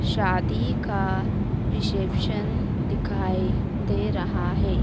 शादी का रिसेप्शन दिखाई दे रहा है।